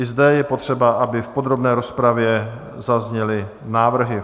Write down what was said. I zde je potřeba, aby v podrobné rozpravě zazněly návrhy.